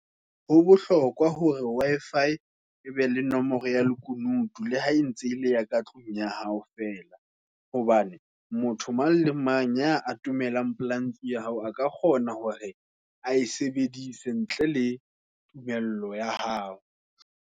Ho bohlokwa hore Wi-Fi e be le nomoro ya lekunutu, la hae ntse ele ya ka tlung ya hao fela. Hobane motho mang le mang, ya atomelang pela ntlo ya hao, a ka kgona hore a e sebedise ntle le tumello ya hao.